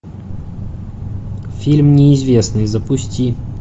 фильм неизвестный запусти